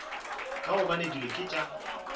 ka gobane dilo ke tša